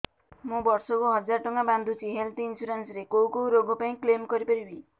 ମୁଁ ବର୍ଷ କୁ ହଜାର ଟଙ୍କା ବାନ୍ଧୁଛି ହେଲ୍ଥ ଇନ୍ସୁରାନ୍ସ ରେ କୋଉ କୋଉ ରୋଗ ପାଇଁ କ୍ଳେମ କରିପାରିବି